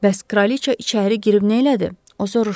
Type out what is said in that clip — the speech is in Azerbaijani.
Bəs kraliça içəri girib nə elədi?